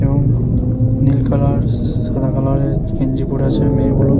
এবং নীল কালার স সাদা কালার এর গেঞ্জি পড়ে আছে মেয়েগুলো।